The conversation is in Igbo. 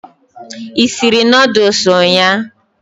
I sịrị noodles ụnyaahụ?